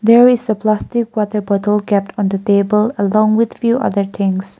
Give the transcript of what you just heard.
there is a plastic water bottle kept on the table along with few other things.